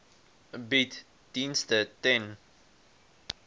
bied dienste ten